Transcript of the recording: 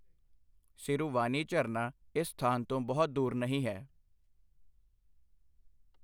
ਸਿਰੁਵਾਨੀ ਝਰਨਾ ਇਸ ਸਥਾਨ ਤੋਂ ਬਹੁਤ ਦੂਰ ਨਹੀਂ ਹੈ।